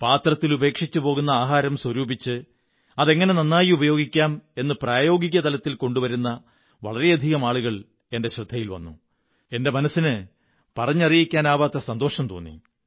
പാത്രത്തിൽ ഉപേക്ഷിച്ചു പോകുന്ന ആഹാരം സ്വരൂപിച്ച് അതെങ്ങനെ നന്നായി ഉപയോഗിക്കാം എന്നു പ്രായോഗിക തലത്തിൽ കൊണ്ടുവരുന്ന വളരെയധികം ആളുകൾ എന്റെ ശ്രദ്ധയിൽ വന്നു എന്റെ മനസ്സിന് പറഞ്ഞറിയിക്കാനാവാത്ത സന്തോഷം തോന്നി